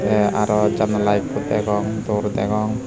tey arow janala ekko degong dor degong.